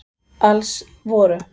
Alls voru